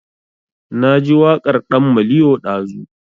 Na ji waƙar ɗan maliyo ɗazu